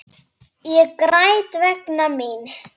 Þær eru sko algjör yndi.